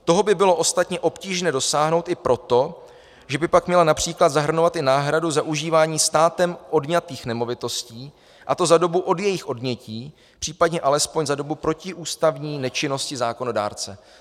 Toho by bylo ostatně obtížné dosáhnout i proto, že by pak měla například zahrnovat i náhradu za užívání státem odňatých nemovitostí, a to za dobu od jejich odnětí, případně alespoň za dobu protiústavní nečinnosti zákonodárce.